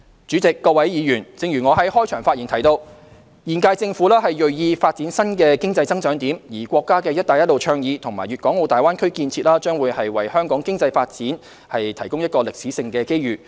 主席、各位議員，我在開場發言提到，現屆政府銳意發展新的經濟增長點，而國家的"一帶一路"倡議和大灣區建設將會為香港經濟發展提供一個歷史性機遇。